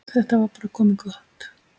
Þetta var bara komið gott.